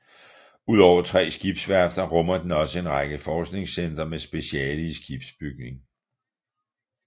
Udover tre skibsværfter rummer den også en række forskningscentre med speciale i skibsbygning